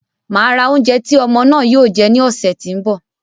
Màá ra oúnjẹ tí ọmọ náà yóò jẹ ní ọ̀ṣẹ̀ tí ń bọ̀.